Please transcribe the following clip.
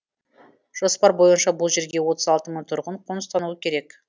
жоспар бойынша бұл жерге отыз алты мың тұрғын қоныстануы керек